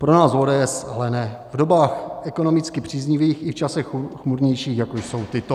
Pro nás ODS ale ne, v dobách ekonomicky příznivých i v časech chmurnějších, jako jsou tyto.